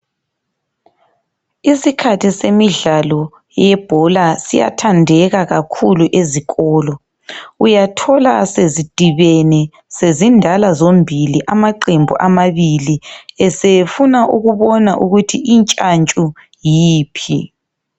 Isikhathi semidlalo yebhola siyathandeka kakhulu ezikolo uyathola sezidibene sezindala zombili amaqembu amabili, esefuna ukubona ukuthi intshantshu yiphi.